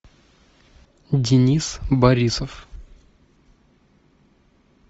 денис борисов